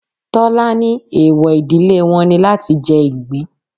Tọ́lá ní eewọ ìdílé wọn ni láti jẹ ìgbín.